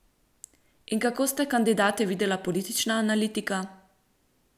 In kako sta kandidate videla politična analitika?